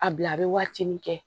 A bila a bɛ waati min kɛ